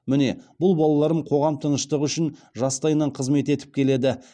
міне бұл балаларым қоғам тыныштығы үшін жастайынан қызмет етіп келеді